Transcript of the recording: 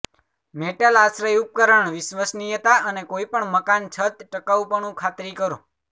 metal આશ્રય ઉપકરણ વિશ્વસનીયતા અને કોઈપણ મકાન છત ટકાઉપણું ખાતરી કરો